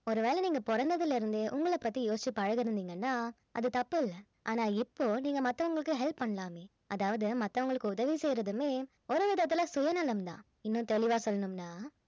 ஒருவேளை நீங்க பொறந்ததுல இருந்தே உங்கள பத்தி யோசிச்சு பழகியிருந்தீங்கன்னா அது தப்பு இல்ல ஆனா இப்போ நீங்க மத்தவங்களுக்கும் help பண்ணலாமே அதாவது மத்தவங்களுக்கு உதவி செய்யறதுமே ஒரு விதத்துல சுயநலம் தான் இன்னும் தெளிவா சொல்லனும்னா